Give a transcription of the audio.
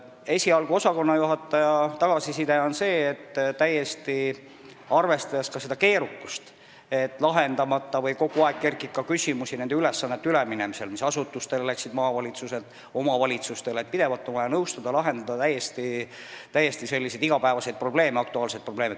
Esialgu on osakonnajuhataja tagasiside olnud selline – arvestades ka seda keerukat aspekti, et kogu aeg kerkib küsimusi nende ülesannete kohta, mis läksid maavalitsuselt üle asutustele ja omavalitsustele –, et pidevalt on vaja nõustada ja lahendada täiesti igapäevaseid aktuaalseid probleeme.